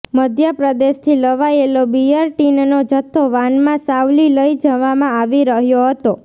મધ્ય પ્રદેશથી લવાયેલો બિયર ટીનનો જથ્થો વાનમાં સાવલી લઈ જવામાં આવી રહ્યો હતો